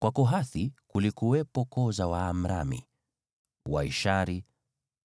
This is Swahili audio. Kwa Kohathi kulikuwepo koo za Waamramu, Waishari,